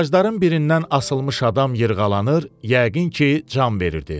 Ağacların birindən asılmış adam yırğalanır, yəqin ki, can verirdi.